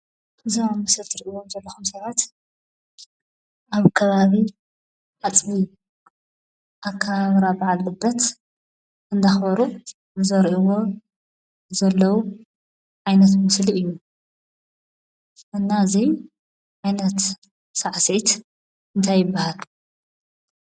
እዞም ኣብ ምስሊ ትሪእዎም ዘለኹም ሰባት ኣብ ከባቢ ኣፅቢ ኣከባብራ በዓል ልደት እንዳኽበሩ ዘርእይዎ ዘለዉ ዓይነት ምስሊ እዩ፡፡ እና እዚ ዓይነት ሳዕስዒት እንታይ ይበሃል?